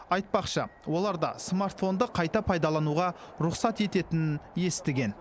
айтпақшы олар да смартфонды қайта пайдалануға рұқсат ететінін естіген